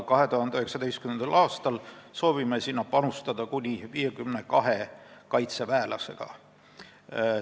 2019. aastal soovime sinna panustada kuni 52 kaitseväelasega.